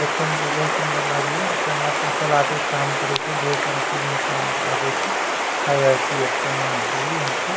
देखे में ते बहुत सुन्दर लागे या टमाटर सलाद के काम करे छै बहुत सारा चीज़ में काम आवे छै खाए आर पिये के सामान छी यहाँ के।